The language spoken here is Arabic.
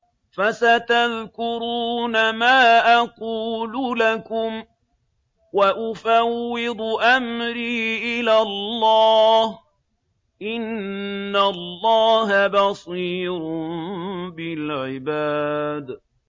فَسَتَذْكُرُونَ مَا أَقُولُ لَكُمْ ۚ وَأُفَوِّضُ أَمْرِي إِلَى اللَّهِ ۚ إِنَّ اللَّهَ بَصِيرٌ بِالْعِبَادِ